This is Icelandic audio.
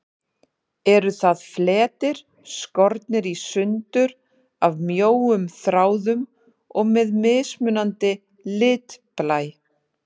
Eru það fletir, skornir í sundur af mjóum þráðum og með mismunandi litblæ.